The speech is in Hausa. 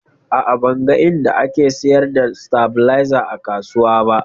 A'a, ban ga inda ake sayar da stabilizer a kasuwa ba